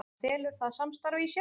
Hvað felur það samstarf í sér?